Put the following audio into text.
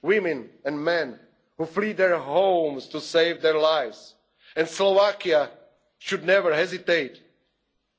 children, women and men who flee their homes to save their lives, and Slovakia should never hesitate